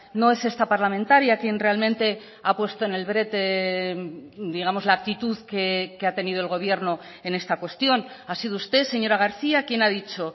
no es esta parlamentaria quien realmente ha puesto en el brete digamos la actitud que ha tenido el gobierno en esta cuestión ha sido usted señora garcía quien ha dicho